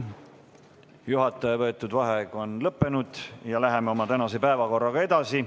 Juhataja võetud vaheaeg on lõppenud ja läheme oma tänase päevakorraga edasi.